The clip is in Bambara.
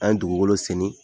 An ye dugukolo senni.